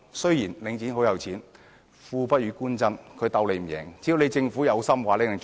雖然領展很有財力，但"富不與官爭"，它亦無法勝過政府。